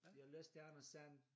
Jeg læste Anders And